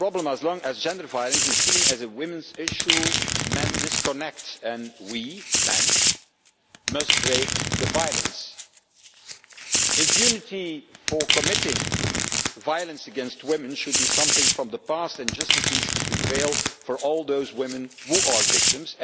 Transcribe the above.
As long as gender violence is seen as a women's issue, men disconnect and we men must break the violence. Impunity for committing violence against women should be a thing of the past and justice needs to prevail for all those women who are victims.